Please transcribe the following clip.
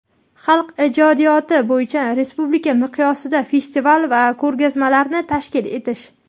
xalq ijodiyoti) bo‘yicha respublika miqyosida festival va ko‘rgazmalarni tashkil etish;.